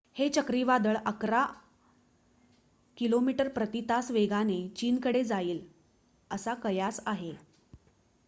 हे चक्रीवादळ अकरा किमी प्रती तास वेगाने चीन कडे जाईल असा कयास आहे